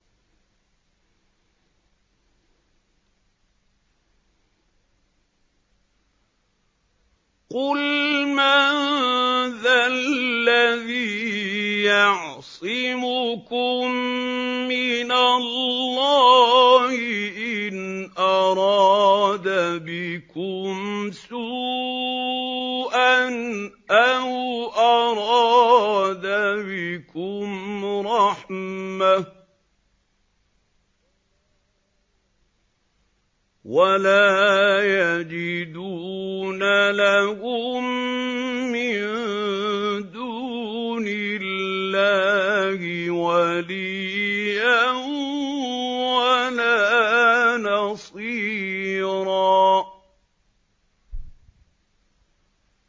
قُلْ مَن ذَا الَّذِي يَعْصِمُكُم مِّنَ اللَّهِ إِنْ أَرَادَ بِكُمْ سُوءًا أَوْ أَرَادَ بِكُمْ رَحْمَةً ۚ وَلَا يَجِدُونَ لَهُم مِّن دُونِ اللَّهِ وَلِيًّا وَلَا نَصِيرًا